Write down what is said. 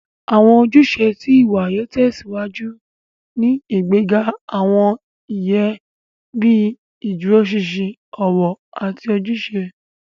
Awọn ojúṣe tí ìwà yóò tèsíwájú ní ìgbéga awọn iye bii ìdúróṣinṣin, ọwọ, àti ojúṣe.